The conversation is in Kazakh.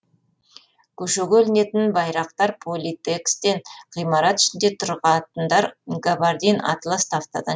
көшеге ілінетін байрақтар политэкстен ғимарат ішінде тұратындар габардин атлас тафтадан